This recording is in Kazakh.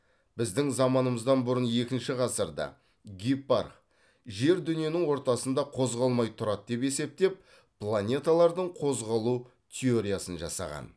біздің заманымыздан бұрын екінші ғасырда гиппарх жер дүниенің ортасында қозғалмай тұрады деп есептеп планеталардың қозғалу теориясын жасаған